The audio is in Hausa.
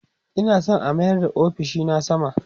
Ina San a mayar da ofishina sama